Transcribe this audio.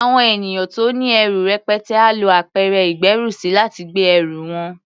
Àwọn ènìyàn tó ní ẹrù rẹpẹtẹ á lo apẹ̀rẹ̀ ìgbérùsí, láti gbé ẹrù wọn.